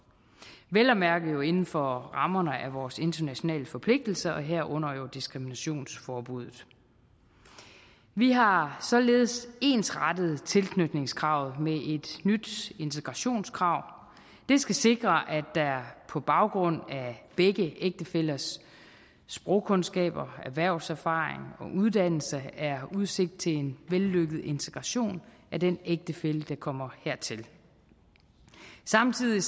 vel at mærke jo inden for rammerne af vores internationale forpligtelser herunder jo diskriminationsforbuddet vi har således ensrettet tilknytningskravet med et nyt integrationskrav det skal sikre at der på baggrund af begge ægtefællers sprogkundskaber erhvervserfaring og uddannelse er udsigt til en vellykket integration af den ægtefælle der kommer hertil samtidig